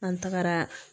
An tagara